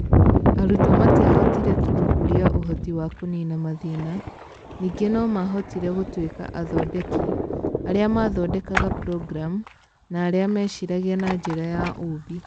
Arutwo matiahotire tu gũkũria ũhoti wa kũniina mathĩna, ningĩ no maahotire gũtuĩka athondeki, arĩa mathondekaga programu, na arĩa meciragia na njĩra ya ũũmbi.